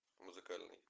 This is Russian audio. музыкальный